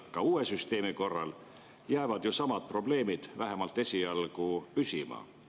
Ka uue süsteemi korral jäävad ju samad probleemid vähemalt esialgu püsima.